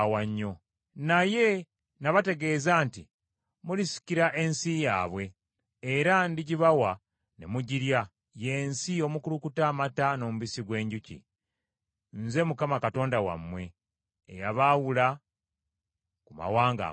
Naye nabategeeza nti, “Mulisikira ensi yaabwe, era ndigibawa ne mugirya, ye nsi omukulukuta amata n’omubisi gw’enjuki.” Nze Mukama Katonda wammwe eyabaawula ku mawanga amalala.